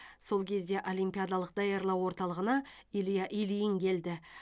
сол кезде олимпиадалық даярлау орталығына илья ильин келді